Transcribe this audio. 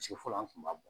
So fɔlɔ an kun b'a bɔ